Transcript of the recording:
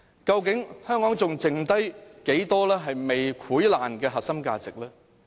究竟香港還剩下多少未潰爛的核心價值？